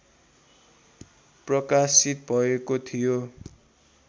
प्रकाशित भएको थियो